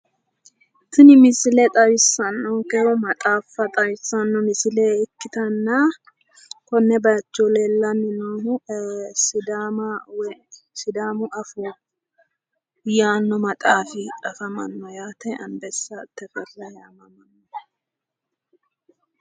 tini misile xawisanokehu maaxafa xawisanno misile ikkitana kone bayicho leellaninohu sidaama woy sidaamu afoo yaano maaxafi afamano yaate